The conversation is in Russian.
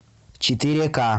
четыре ка